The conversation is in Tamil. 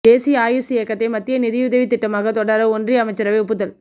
தேசிய ஆயுஷ் இயக்கத்தை மத்திய நிதியுதவித் திட்டமாக தொடர ஒன்றிய அமைச்சரவை ஒப்புதல்